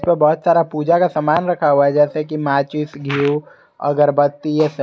जो बहुत सारा पूजा का सामान रखा हुआ है जैसे कि माचिस घीव अगरबत्ती ये सब।